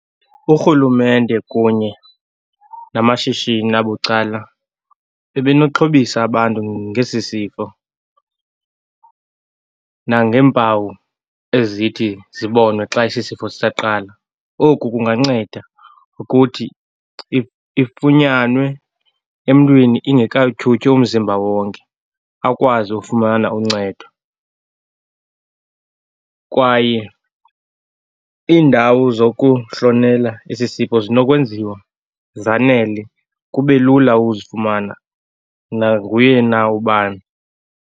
Urhulumente kunye namashishini abucala, bebenoxhobisa abantu ngesi sifo nangeempawu ezithi zibonwe xa esisifo sisaqalwa. Oku kunganceda ukuthi ifunyanwe emntwini ingekawuthyuthyi umzimba wonke, akwazi ufumana uncedo. Kwaye iindawo zokuhlonela esi sifo zinokwenziwa zanele, kube lula uzifumana nanguye na ubani.